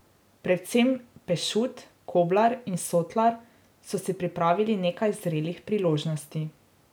Predvsem Pešut, Koblar in Sotlar so si pripravili nekaj zrelih priložnosti.